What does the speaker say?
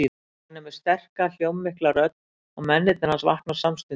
Hann er með sterka, hljómmikla rödd og mennirnir hans vakna samstundis.